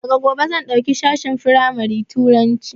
Daga gobe zan ɗauki sashen firamari Turanci